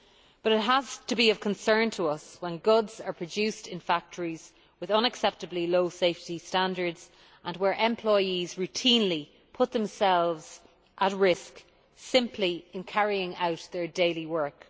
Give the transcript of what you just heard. But it has to be of concern to us when goods are produced in factories with unacceptably low safety standards and where employees routinely put themselves at risk simply in carrying out their daily work.